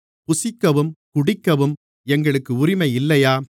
புசிக்கவும் குடிக்கவும் எங்களுக்கு உரிமை இல்லையா